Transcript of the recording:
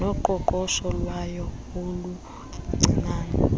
noqoqosho lwayo oluncinane